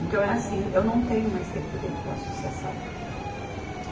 Então é assim, eu não tenho mais tempo dentro da associação.